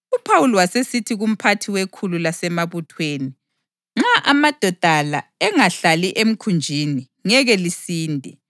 UPhawuli wasesithi kumphathi wekhulu lasemabuthweni, “Nxa amadoda la engahlali emkhunjini, ngeke lisinde.”